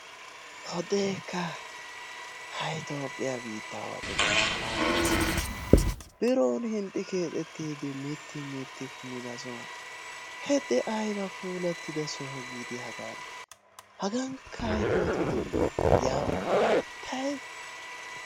hode ekka hay toophiya biittaawatubay malaaleessikka. birooni hinxxi keexetiidi mitti miti kummido sohuwa hede, ayba puulatiddo soho giidi hagaa; hagankka ay pooto dendii yaw asho tay;